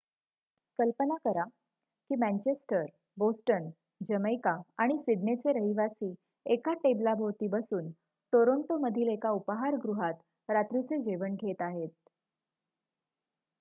कल्पना करा की मॅन्चेस्टर बोस्टन जमैका आणि सिडनेचे रहिवासी एका टेबलाभोवती बसून टोरांटोमधील एका उपाहारगृहात रात्रीचे जेवण घेत आहेत